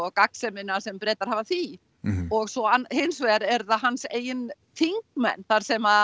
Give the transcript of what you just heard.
gagnsemina sem Bretar hafa af því og svo hins vegar er það hans eigin þingmenn þar sem